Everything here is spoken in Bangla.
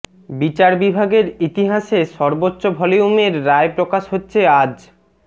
বিচার বিভাগের ইতিহাসে সর্বোচ্চ ভলিউমের রায় প্রকাশ হচ্ছে আজ